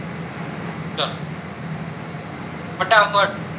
ફટાફટ